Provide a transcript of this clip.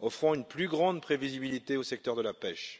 offrant une plus grande prévisibilité au secteur de la pêche.